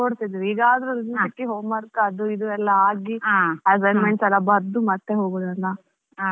ಹೌದು ಹೌದು ಅದು ಆಗಿನ ಕಾಲದಲ್ಲಿ ಸಹ ಹಾಗೆ ಆಗೆಲ್ಲ ರಜೆ ಸಿಕ್ಕಿದ್ದು ಕೂಡ್ಲೇ ಒಡತಿಧ್ವಿ ಈಗಾದ್ರೂ ರಜೆ ಸಿಕ್ಕಿ homework ಅದು ಇದು ಎಲ್ಲಾ ಆಗಿ assignments ಎಲ್ಲ ಬರ್ದು ಬರ್ದು ಮತ್ತೆ ಹೋಗುದಲ್ಲಾ.